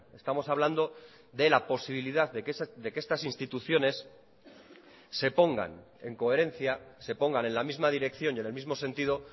estamos hablando de la posibilidad de que estas instituciones se pongan en coherencia se pongan en la misma dirección y en el mismo sentido